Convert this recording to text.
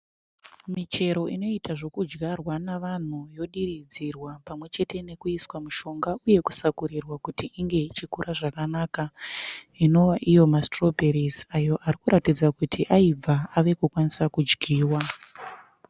Michero inoita zvokudyarwa navanhu yodiridzirwa pamwechete nokuiswa mishonga uye kusakurirwa kuti inge ichikura zvakanaka inova iyo masitirobheri ayo ari kuratidza kuti aibva ave kukwanisa kudyiwa.